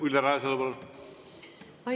Ülle Rajasalu, palun!